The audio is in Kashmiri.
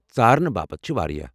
ژارنہٕ باپت چھِ واریاہ ۔